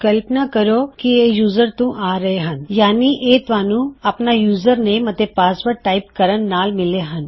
ਕਲਪਨਾ ਕਰੋ ਕੀ ਇਹ ਯੂਜ਼ਰ ਤੋਂ ਆ ਰਹੇ ਹਨ - ਯਾਨੀਂ ਇਹ ਤੂਹਾਨੂੰ ਆਪਣਾ ਯੂਜਰਨੇਮ ਅਤੇ ਪਾਸਵਰਡ ਟਾਇਪ ਕਰਨ ਨਾਲ ਮਿਲੇ ਹਨ